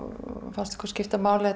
fannst okkur skipta máli að